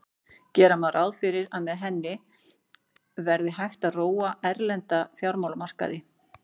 Gera má ráð fyrir að með henni verði hægt að róa erlenda fjármálamarkaði.